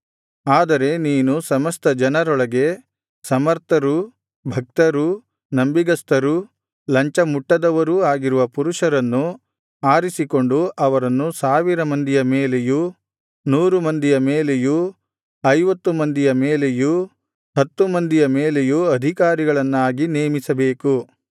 ಆದರೆ ನೀನು ಸಮಸ್ತ ಜನರೊಳಗೆ ಸಮರ್ಥರೂ ಭಕ್ತರೂ ನಂಬಿಗಸ್ತರೂ ಲಂಚಮುಟ್ಟದವರೂ ಆಗಿರುವ ಪುರುಷರನ್ನು ಆರಿಸಿಕೊಂಡು ಅವರನ್ನು ಸಾವಿರ ಮಂದಿಯ ಮೇಲೆಯೂ ನೂರು ಮಂದಿಯ ಮೇಲೆಯೂ ಐವತ್ತು ಮಂದಿಯ ಮೇಲೆಯೂ ಹತ್ತು ಮಂದಿಯ ಮೇಲೆಯೂ ಅಧಿಕಾರಿಗಳನ್ನಾಗಿ ನೇಮಿಸಬೇಕು